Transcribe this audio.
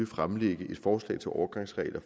fremlægge et forslag til overgangsregler